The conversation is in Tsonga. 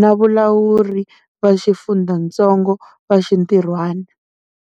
na valawuri va xifundzatsongo va xintirhwana.